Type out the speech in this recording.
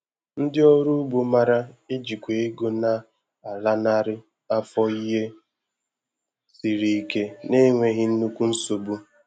Ndị ọrụ ugbo mara e jikwa ego na a lanarị afọ ihe siri ike na-enweghi nnukwu nsogbu